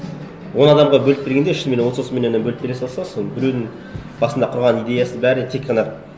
он адамға бөліп бергенде шынымен отыз отыз миллионнан бөліп бере салса соны біреудің басында құрған идеясы бәрі тек қана